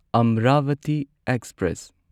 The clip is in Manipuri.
ꯑꯝꯔꯥꯚꯇꯤ ꯑꯦꯛꯁꯄ꯭ꯔꯦꯁ